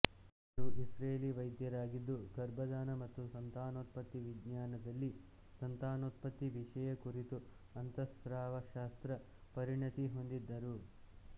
ಅವರು ಇಸ್ರೇಲಿ ವೈದ್ಯರಾಗಿದ್ದು ಗರ್ಭದಾನ ಮತ್ತು ಸಂತಾನೋತ್ಪತ್ತಿ ವಿಜ್ಞಾನದಲ್ಲಿ ಸಂತಾನೋತ್ಪತ್ತಿ ವಿಷಯ ಕುರಿತ ಅಂತಃಸ್ರಾವಶಾಸ್ತ್ರ ಪರಿಣತಿ ಹೊಂದಿದ್ದರು